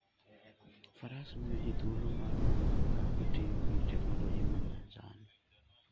Faras miyo ji thuolo mar wuotho ka gitiyo gi teknoloji ma nyasani.